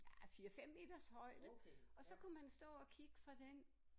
Ah 5 6 meters højde og så kunne man stå og kigge fra den